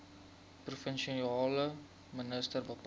provinsiale minister bepaal